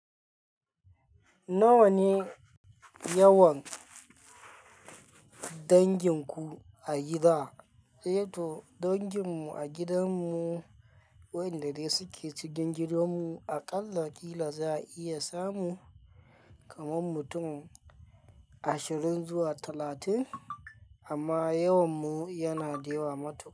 Nawa ne yawan dangin ku a gida? Eh to dangin mu a gidan mu, waɗanda dai suke cikin gidan mu a ƙalla kila za a iya samu kaman mutum ashirin zuwa talatin. Amma yawan mu yana da yawa matuƙa.